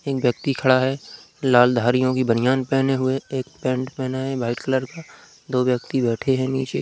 एक व्यक्ति खड़ा है लाल धारियो की बनयान पहने हुए। एक पैन्ट पहना है व्हाइट कलर का। दो व्यक्ति बैठे है नीचे।